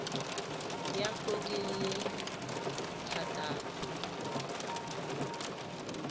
ya go di le thataro